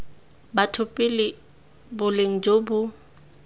batho pele boleng jo bo